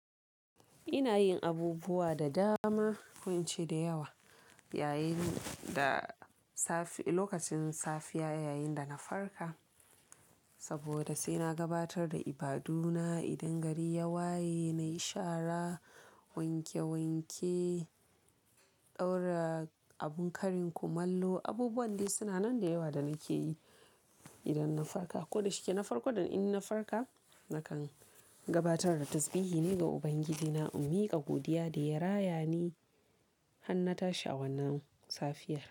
Ina yin abubuwa da dama ko ince da yawa yayin da safe lokacin safiya yayin da na farka. Saboda sai na gabatar da ibaduna idan gari ya waye nayi shara, wanke wanke, ɗaura abun karin kumallo, abubuwan dai suna nan da yawa da nake yi idan na farka. Ko da shike na farko dan in na farka nakan gabatar da tasbihi ne ga Ubangiji na, in miƙa godiya da ya raya ni har na tashi a wannan safiyar.